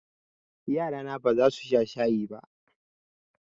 Yarana ba za su sha shayi ba.